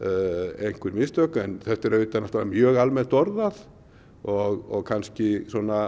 einhver mistök en þetta er auðvitað mjög almennt orðað og kannski